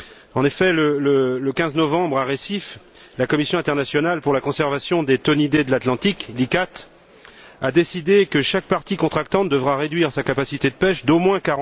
En effet, le 15 novembre à Recife, la Commission internationale pour la conservation des thonidés de l'Atlantique, la CICTA, a décidé que chaque partie contractante devra réduire sa capacité de pêche d'au moins